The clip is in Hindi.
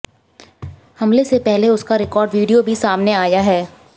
हमले से पहले उसका रिकॉर्ड वीडियो भी सामने आया है